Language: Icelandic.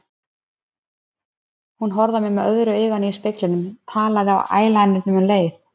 Hún horfði á mig með öðru auganu í speglinum, tékkaði á ælænernum um leið.